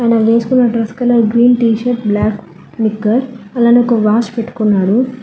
ఆయన వేసుకున్న dress colour green T-shirt black నిక్కర్ అలానే ఒక వాచ్ పెట్టుకున్నాడు.